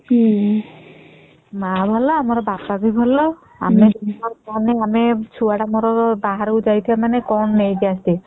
ମା ଭଲ ବାପା ଭଲ ଆମର ଛୁଆ ତ ମୋର ବାହାରକୁ ଯାଇଥିବା ମାନେ କଣ ଗୋଟେ ନେଇକି ଆସିଥିବା ହୁଁ